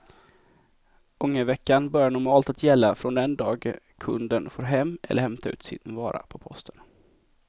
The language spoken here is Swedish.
Ångerveckan börjar normalt att gälla från den dag kunden får hem eller hämtar ut sin vara på posten.